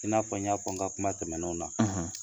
I n'a fɔ n y'a fɔ n ka kuma tɛmɛnenw na